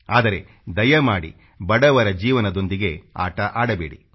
ಆದರೆ ದಯಮಾಡಿ ಬಡವರ ಜೀವನದೊಂದಿಗೆ ಆಟ ಆಡಬೇಡಿ